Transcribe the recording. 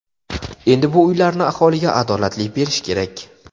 Endi bu uylarni aholiga adolatli berish kerak.